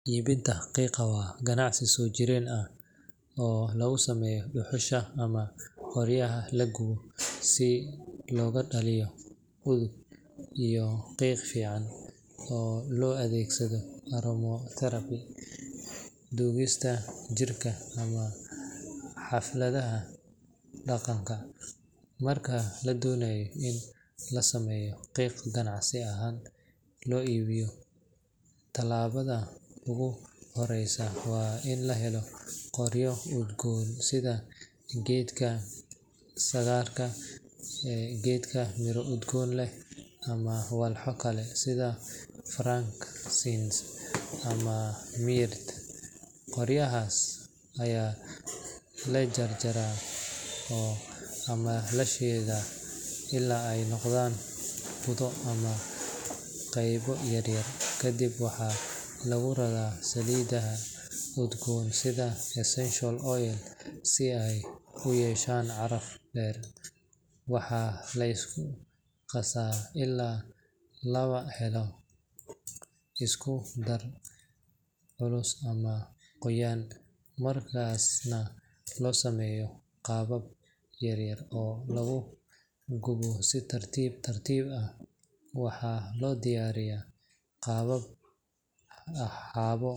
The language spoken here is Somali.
Iibinta qiiqa waa ganacsi soo jireen ah oo laga sameeyo dhuxusha ama qoryaha la gubo si looga dhaliyo udug iyo qiiq fiican oo loo adeegsado aromatherapy, duugista jirka, ama xafladaha dhaqanka. Marka la doonayo in la sameeyo qiiq ganacsi ahaan loo iibiyo, talaabada ugu horreysa waa in la helo qoryo udgoon sida geedka sandarka, geed miro udgoon leh, ama walxo kale sida frankincense ama myrrh. Qoryahaas ayaa la jajabiyaa ama la shiidaa ilaa ay noqdaan budo ama qaybo yaryar. Kadib waxaa lagu daraa saliidaha udgoon sida essential oils si ay u yeeshaan caraf dheer. Waxaa la isku qasaa ilaa laga helo isku-dar culus ama qoyan, markaasna loo sameeyaa qaabab yaryar oo lagu gubo si tartiib tartiib ah. Waxaa loo diyaariyaa qaabab.